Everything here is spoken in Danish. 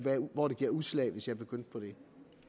hvor det giver udslag hvis jeg begyndte på det